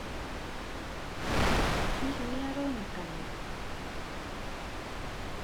hihi nĩaronekana?